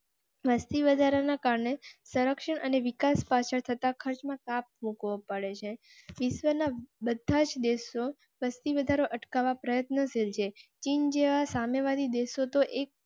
વસ્તી વધારા ના કારણે સંરક્ષણ અને વિકાસ પાછળ થતાં ખર્ચમાં કાપ મુકવા પડે છે. વિશ્વના બધા દેશો વસ્તી વધારો અટકાવવા પ્રયત્ન શીલ જે ચીન જેવા સામ્યવાદી દેશો તો